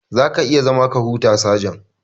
Za ka iya zama ka huta, sajan.